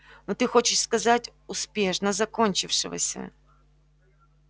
но ты хочешь сказать успешно закончившегося